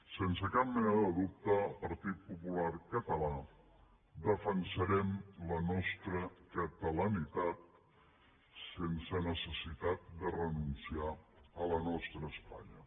sense cap mena de dubte el partit popular català defensarem la nostra catalanitat sense necessitat de renunciar a la nostra espanya